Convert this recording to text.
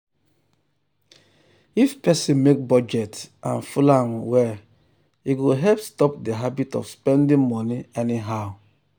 if person make budget and follow am well e go help stop the habit of spending money anyhow.